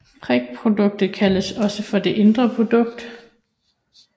Prikproduktet kaldes også for det indre produkt